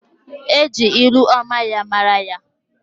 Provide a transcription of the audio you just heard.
E ji ilu ọma ya mara ya.